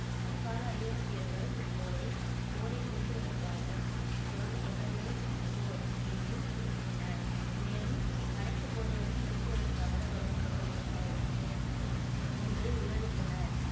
அக்கால ஐரோப்பியர்கள் இப்போரை போரை நிறுத்துவதற்காக தொடங்கப்பட்ட ஒரு போர் என்று குறிப்பிட்டனர் மேலும் அனைத்து போர்களையும் நிறுத்துவதற்காக தொடங்கப்பட்ட ஒரு போர் என்று விவரித்தனர்